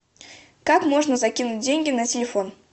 как можно закинуть деньги на телефон